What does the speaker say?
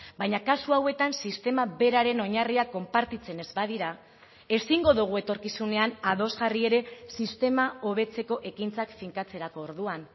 baina kasu hauetan sistema beraren oinarriak konpartitzen ez badira ezingo dugu etorkizunean ados jarri ere sistema hobetzeko ekintzak finkatzerako orduan